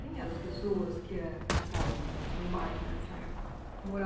Quem eram as pessoas que é que estavam no bairro nessa época, que